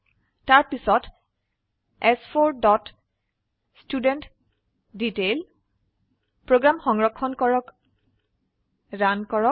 তাৰপিছত চ4 dot student detail program সংৰক্ষণ কৰক ৰান কৰক